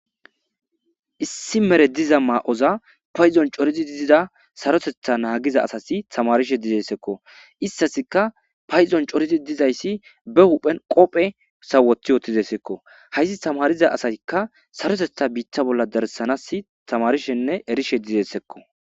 issi mere diza maa'oza payzon corizi dizida sarotetha naagiza asasi tamarishe dizessekko istasika payizon corizi dizayssi be huphen qophe wothi ootizessekko hayssi tamariza asasikka sarotetha biitta bolla darsanas tamarishenne erishe dizessekko